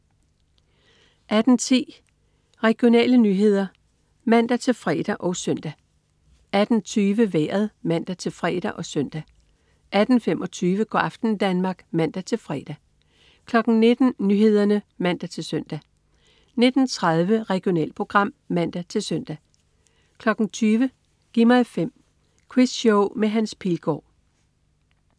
18.10 Regionale nyheder (man-fre og søn) 18.20 Vejret (man-fre og søn) 18.25 Go' aften Danmark (man-fre) 19.00 Nyhederne (man-søn) 19.30 Regionalprogram (man-søn) 20.00 Gi' mig 5. Quizshow med Hans Pilgaard